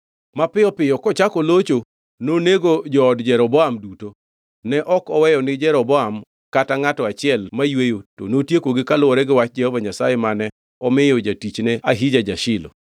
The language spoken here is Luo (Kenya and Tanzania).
Mapiyo piyo kochako locho, nonego jood Jeroboam duto. Ne ok oweyo ni Jeroboam kata ngʼato achiel mayweyo to notiekogi kaluwore gi wach Jehova Nyasaye mane omiyo jatichne Ahija ja-Shilo;